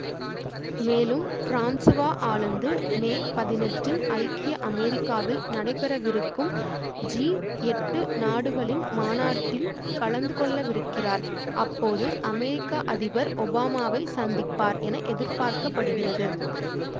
மேலும் Francois Hollande மே பதினெட்டில் ஐக்கிய அமெரிக்காவில் நடைபெறவிருக்கும் ஜி எட்டு நாடுகளின் மாநாட்டில் கலந்துகொள்ளவிருக்கிறார் அப்போது அமெரிக்க அதிபர் ஒபாமாவை சந்திப்பார் என எதிபார்க்கப்படுகிறது